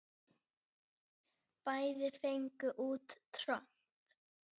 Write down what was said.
Bæði fengu út tromp.